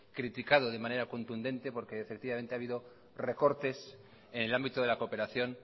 criticado de manera contundente porque efectivamente ha habido recortes en el ámbito de la cooperación